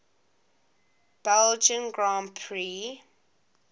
belgian grand prix